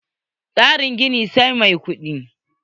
Tsarin gini, sai mai kudi.